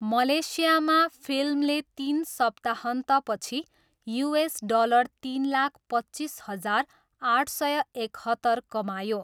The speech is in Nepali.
मलेसियामा, फिल्मले तिन सप्ताहन्तपछि युएस डलर तिन लाख पच्चिस हजार आठ सय एकहत्तर कमायो।